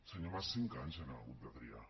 senyor mas cinc anys han hagut de trigar